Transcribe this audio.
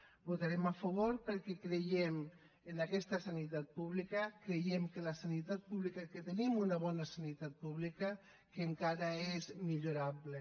hi votarem a favor perquè creiem en aquesta sanitat pública creiem que tenim una bona sanitat pública que encara és millorable